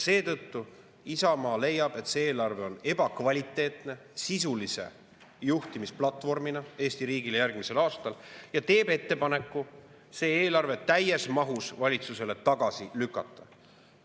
Seetõttu Isamaa leiab, et see eelarve on sisulise juhtimisplatvormina Eesti riigile järgmisel aastal ebakvaliteetne, ja teeb valitsusele ettepaneku see eelarve täies mahus tagasi lükata.